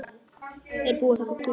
Er búið að taka kúluna?